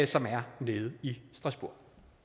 som er nede i strasbourg